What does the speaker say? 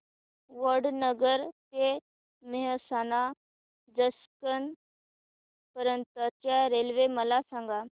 वडनगर ते मेहसाणा जंक्शन पर्यंत च्या रेल्वे मला सांगा